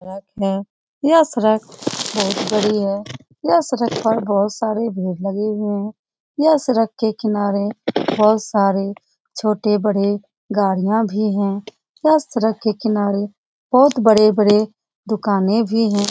यह सड़क बहुत बड़ी है यह सड़क पर बहुत सारी भीड़ लगी हुयी है यह सड़क के किनारे बहुत सारे छोटे बड़े गाड़ियाँ भी हैं यह सड़क के किनारे बहुत बड़े बड़े दुकानें भी हैं।